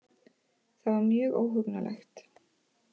Það var mjög óhugnanlegt